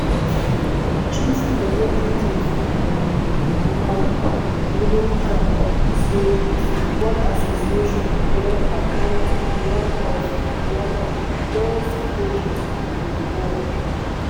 chief executive um mark bullingham say di football association don appoint "one of "one of di best coaches in di world".